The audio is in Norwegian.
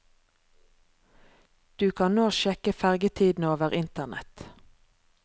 Du kan nå sjekke fergetidene over internett.